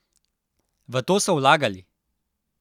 V to so vlagali!